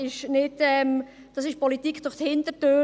Dies ist Politik durch die Hintertür.